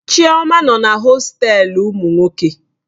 Chioma nọ na hostelu ụmụ nwoke.